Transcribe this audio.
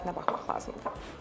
Dadına baxmaq lazımdır.